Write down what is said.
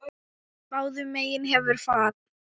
Báðum megin hefur fat.